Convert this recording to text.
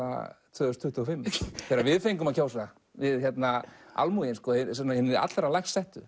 tvö þúsund tuttugu og fimm þegar við fengum að kjósa við almúginn hinir allra lægst settu